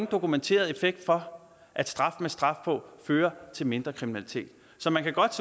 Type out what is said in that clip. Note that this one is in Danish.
dokumenteret effekt for at straf med straf på fører til mindre kriminalitet så man godt